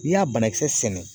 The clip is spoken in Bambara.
N'i y'a banakisɛ sɛnɛ